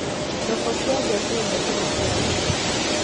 Thoko cia nja ciendete maciaro maitũ.